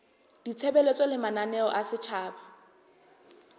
ditshebeletso le mananeo a setjhaba